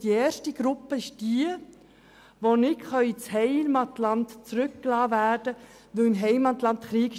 Die erste betrifft Personen, die nicht in ihr Heimatland zurückgelassen werden können, weil dort Krieg herrscht.